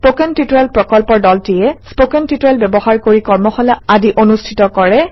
spoken tutorial প্ৰকল্পৰ দলটিয়ে spoken tutorial ব্যৱহাৰ কৰি কৰ্মশালা আদি অনুষ্ঠিত কৰে